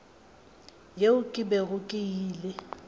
yeo ke bego ke ile